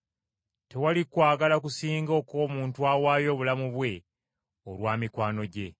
Tewali kwagala kusinga okw’omuntu awaayo obulamu bwe olwa mikwano gye.